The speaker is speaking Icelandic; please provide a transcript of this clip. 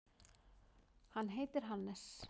Hann heitir Hannes.